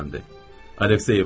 Aleksey İvanoviç.